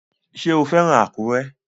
Ṣé o fẹ́ràn Àkúrẹ́?